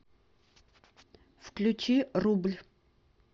включи рубль